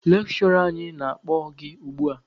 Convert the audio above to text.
Lekshụra anyị na-akpọ gị ugbua!